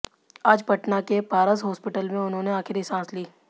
आज पटना के पारस हॉस्पिटल में उन्होंने आखिरी सांस ली